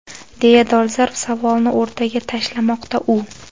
deya dolzarb savolni o‘rtaga tashlamoqda u.